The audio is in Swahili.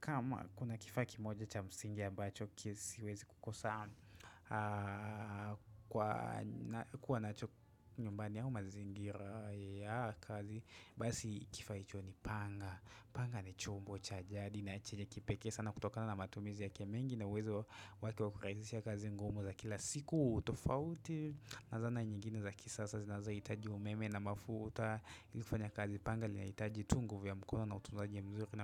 Kama kuna kifaa kimoja cha msingi ambacho kisiwezi kukosa kuwa nacho nyumbani au mazingira ya kazi Basi kifaa hicho ni panga Panga ni chombo cha jadi na chenye kipekee sana kutokana na matumizi yake mengi na uwezo wake wa kurahisisha kazi ngumu za kila siku tofauti na zana nyingine za kisasa zinazaohitaji umeme na mafuta kuwa nacho nyumbani au mazingira ya kazi Basi kifaa hicho ni panga Panga ni chombo cha jadi na chenye kipekee sana kutokana na matumizi yake mengi na uwezo wake wa kurahisisha kazi ngumu za kila